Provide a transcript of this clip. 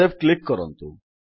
save click କରନ୍ତୁ